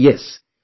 Oh Yes